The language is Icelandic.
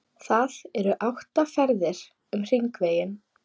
Það eru átta ferðir um Hringveginn.